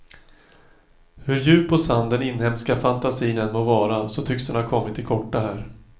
Hur djup och sann den inhemska fantasin än må vara, så tycks den ha kommit till korta här.